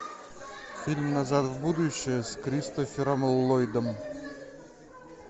фильм назад в будущее с кристофером ллойдом